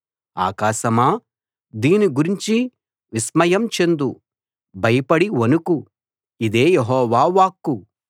ఆకాశమా దీని గురించి విస్మయం చెందు భయపడి వణుకు ఇదే యెహోవా వాక్కు